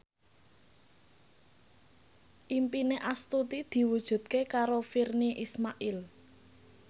impine Astuti diwujudke karo Virnie Ismail